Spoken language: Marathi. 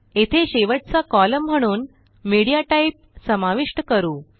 येथे शेवटचा कॉलम म्हणून मीडियाटाइप समाविष्ट करू